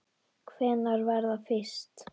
Hvenær var það fyrst?